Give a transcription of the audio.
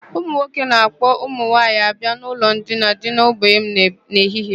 Ụmụ nwoke na-ạkpọ ụmụ nwaanyị abịa n'ụlọ ndina dị n'ogbe m n'ehihie.